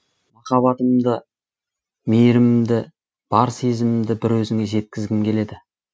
махаббатымды мейірімімді бар сезімімді бір өзіңе жеткізгім келеді